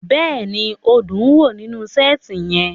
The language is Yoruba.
Bẹ́ẹ̀ni, o dun wo ninu seeti yẹn